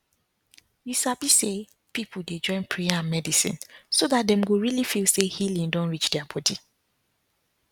you sabi say people dey join prayer and medicine so that dem go really feel say healing don reach their body